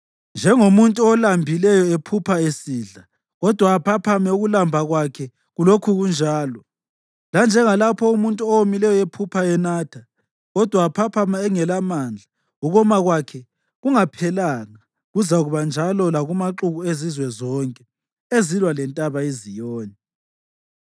njengomuntu olambileyo ephupha esidla, kodwa aphaphame ukulamba kwakhe kulokhu kunjalo, lanjengalapho umuntu owomileyo ephupha enatha kodwa aphaphame engelamandla, ukoma kwakhe kungaphelanga. Kuzakuba njalo lakumaxuku ezizwe zonke ezilwa leNtaba iZiyoni.